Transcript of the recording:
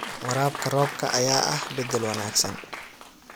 Waraabka roobka ayaa ah bedel wanaagsan.